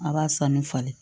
A b'a san ni falen